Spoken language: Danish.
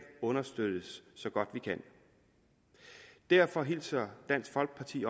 understøttes så godt vi kan derfor hilser dansk folkeparti